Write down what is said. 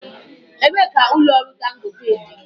Ebee ka ụlọ ọrụ Dangote dị?